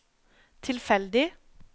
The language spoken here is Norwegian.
tilfeldig